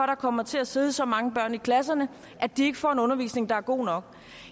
der kommer til at sidde så mange børn i klasserne at de ikke får en undervisning der er god nok